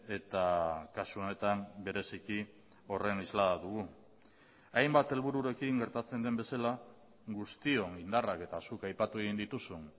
eta kasu honetan bereziki horren isla dugu hainbat helbururekin gertatzen den bezala guztion indarrak eta zuk aipatu egin dituzun